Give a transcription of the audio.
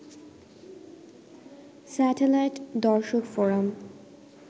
satellite দর্শকফোরাম